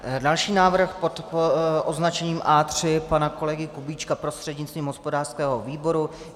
Další návrh pod označením A3 pana kolegy Kubíčka prostřednictvím hospodářského výboru.